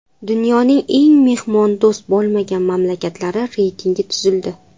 Dunyoning eng mehmondo‘st bo‘lmagan mamlakatlari reytingi tuzildi.